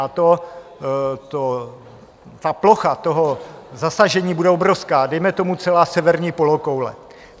A ta plocha toho zasažení bude obrovská, dejme tomu celá severní polokoule.